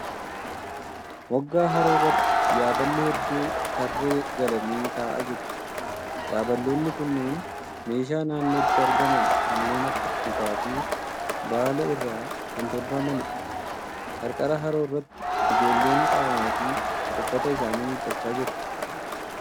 Moggaa haroo irratti yaaballi hedduu tarree galanii taa'aa jiru. Yaabaloonni kunneen meeshaa naannootti argaman kanneen akka muka fi baala irraa kan tolfamaniidha. Qarqara haroo irratti ijoolleen qaama fi uffata isaanii miiccachaa jiru.